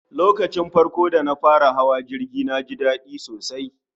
lokacin farko dana taba hawa jirgi naji dadi sosai